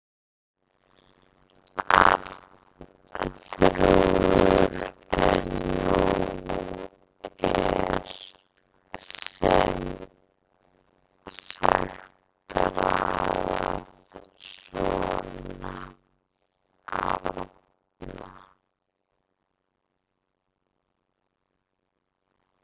Arnþrúður en nú er sem sagt raðað svona: Arna